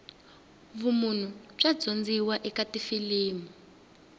vumunhu bya dyondziwa eka tifilimu